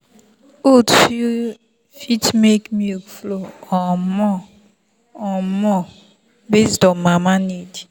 oats fit make milk flow um more um more based on mama body need.